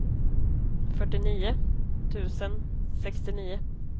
fyrtionio tusen sextionio